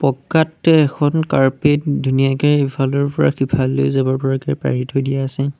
পকাতে এখন কাৰ্পেট ধুনীয়াকে ইফালৰ পৰা সিফাললৈ যাব পৰাকে পাৰি থৈ দিয়া আছে।